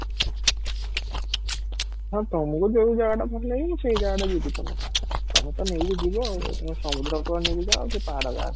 ହଁ, ତମକୁ ଯଉ ଜାଗା ଭଲ ଲାଗେ ସେଇ ଜାଗାଟା ଯିବି ତମୋ ସାଙ୍ଗରେ, ତୋମେ ତ ନେଇକି ଯିବ ଆଉ ତୋମେ ସମୁଦ୍ର କୁଳକୁ ନେଇକି ଯାଅ କି ପାହାଡ ଜାଗାକୁ